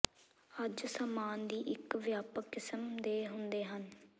ਅੱਜ ਸਾਮਾਨ ਦੀ ਇੱਕ ਵਿਆਪਕ ਕਿਸਮ ਦੇ ਹੁੰਦੇ ਹਨ